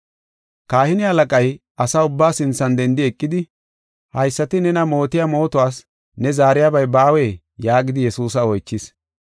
Kahine halaqay asa ubba sinthan dendi eqidi, “Haysati nena mootiya mootuwas ne zaariyabay baawee?” yaagidi Yesuusa oychis.